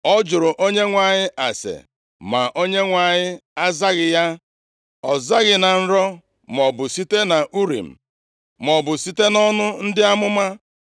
Ọ jụrụ Onyenwe anyị ase, ma Onyenwe anyị azaghị ya. Ọ zaghị na nrọ, maọbụ site nʼUrim, maọbụ site nʼọnụ ndị amụma.